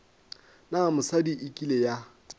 na mosadi e kile ya